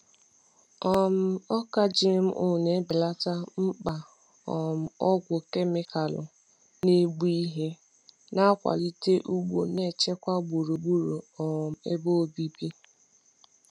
um Ọka GMO na-ebelata mkpa um ọgwụ kemịkalụ na-egbu ihe, na-akwalite ugbo na-echekwa gburugburu um ebe obibi. ebe obibi.